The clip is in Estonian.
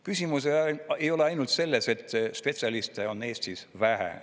Küsimus ei ole ainult selles, et spetsialiste on Eestis vähe.